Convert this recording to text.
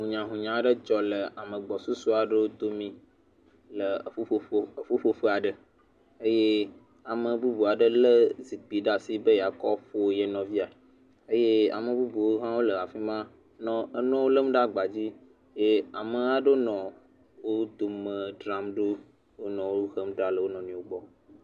Hunyahunya aɖe dzɔ le ame gbɔsusu aɖewo dome le eƒuƒoƒo, eƒuƒoƒe aɖe. Eye ame bubu aɖe lé zikpi ɖe asi be yeakɔ ƒo ye nɔvia. Eye ame bubuwo hã wole afi ma nɔ, enɔ lém ɖe agbadzi. Eye ame aɖewo nɔ wo dome dzram ɖo, wonɔ wo hem ɖa le o nɔnɔewo gbɔ.